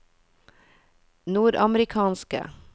nordamerikanske